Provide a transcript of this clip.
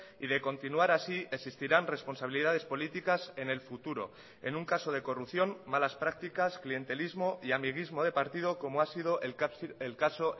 y de continuar así existirán responsabilidades políticas en el futuro en un caso de corrupción malas prácticas clientelismo y amiguismo de partido como ha sido el caso